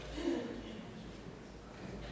vi